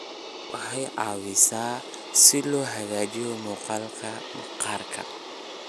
Waxay caawisaa si loo hagaajiyo muuqaalka maqaarka.